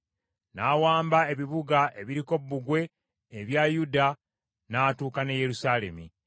N’awamba ebibuga ebiriko bbugwe ebya Yuda n’atuuka n’e Yerusaalemi.